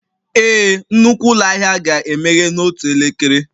Ee, nnukwu ụlọ ahịa ga-emeghe n'otu elekere